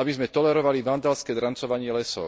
aby sme tolerovali vandalské drancovanie lesov.